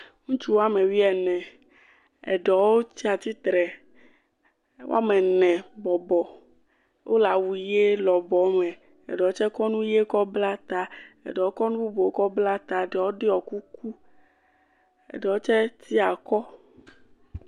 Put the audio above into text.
Ŋutsu wɔme wuiene eɖewo tsi atsitre. Wɔme ene bɔbɔ. Wole awu ʋi lɔbɔ me. Eɖewo tse kɔ nu ʋi kɔ bla ta. Eɖewo kɔ nu bu kɔ bla ta eɖewo ɖɔ kuku. Eɖewo tse tsi akɔ.